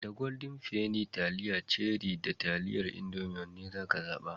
Da Golden penny, taliyan Cherie da taliyar Indomie wanne zaka zaɓa?